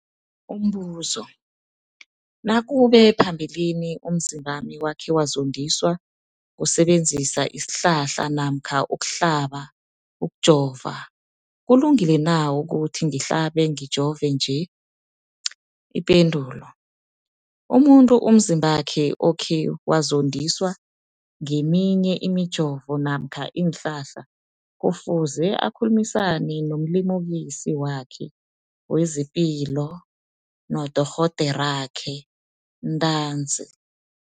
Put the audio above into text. Umbuzo, nakube phambilini umzimbami wakhe wazondiswa kusebenzisa isihlahla namkha ukuhlaba, ukujova, kulungile na ukuthi ngihlabe, ngijove nje? Ipendulo, umuntu umzimbakhe okhe wazondiswa ngeminye imijovo namkha iinhlahla kufuze akhulumisane nomlimukisi wakhe wezepilo, nodorhoderakhe ntanzi.